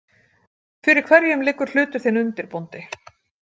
Fyrir hverjum liggur hlutur þinn undir, bóndi?